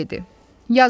Yazın.